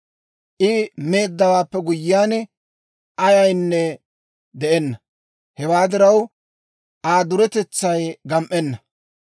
I meeddawaappe guyyiyaan, ayaynne de'enna. Hewaa diraw, Aa duretetsay gam"enna.